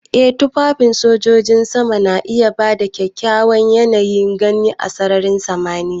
Ee tufafin shuɗi na sojojin sama na iya ba kyakkyawan yanayin gani a sararin samaniya.